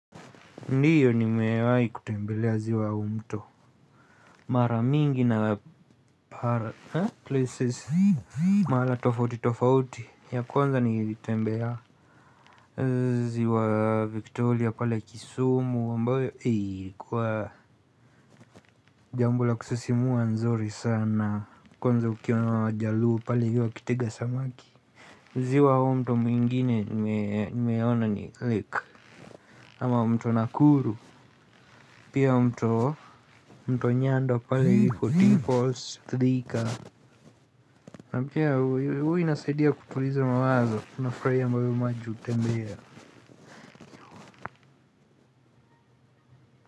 Ndiyo nimewai kutembelea ziwa au mto. Mara mingi na para. Ha? Mara tofauti tofauti. Ya kwanza nilitembea. Ziwa Victoria pale kisumu. Ambayo. Kwa jambo la kusisimua nzuri sana. Kwanza ukiona wajaluo pale hivyo wakitega samaki. Ziwa au mto mwingine. Nimeona ni lake. Ama mto nakuru. Pia mto Nyando pale kutifos Thika na pia hui huwa inasaidia kutuliza mawazo. Unafurahia mahali maji utembelea.